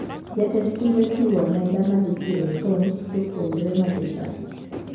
Jatend piny ochiwo omenda madhi siro somb jopuonjre majochan